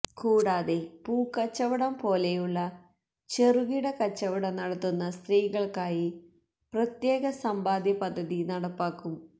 കൂടാതെ പൂക്കച്ചവടം പോലെയുള്ള ചെറുകിട കച്ചവടം നടത്തുന്ന സ്ത്രീകള്ക്കായി പ്രത്യേക സമ്പാദ്യ പദ്ധതി നടപ്പാക്കും